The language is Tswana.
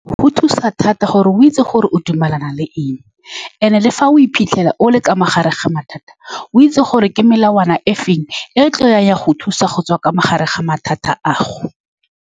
Go thusa thata gore o itse gore o dumelana le eng, and-e, le fa o iphitlhela o le ka mogare ga mathata, o itse gore ke melawana efeng e e tlileng ya go thusa go tswa ka mogare ga mathata a gago.